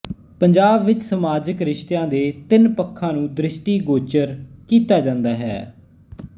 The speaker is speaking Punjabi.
ਪੰਜਾਬ ਵਿੱਚ ਸਮਾਜਕ ਰਿਸ਼ਤਿਆਂ ਦੇ ਤਿੰਨ ਪੱਖਾਂ ਨੂੰ ਦ੍ਰਿਸ਼ਟੀਗੋਚਰ ਕੀਤਾ ਜਾਂਦਾ ਹੈ